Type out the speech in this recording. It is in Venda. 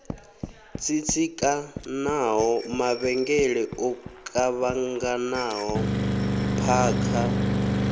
tsitsikanaho mavhengele o kuvhanganaho phakha